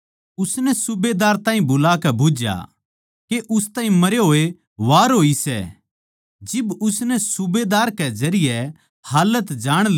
पिलातुस नै हैरानी होई के वो इतनी तोळी मरग्या उसनै सूबेदार ताहीं बुलाकै बुझ्झया के उस ताहीं मरे होये वार होई सै